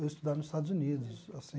Eu estudar nos Estados Unidos assim